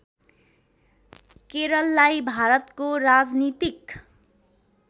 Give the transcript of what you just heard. केरललाई भारतको राजनीतिक